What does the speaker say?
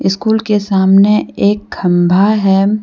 School के सामने एक खंभा है।